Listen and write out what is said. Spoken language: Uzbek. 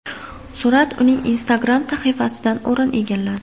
Surat uning Instagram sahifasidan o‘rin egalladi .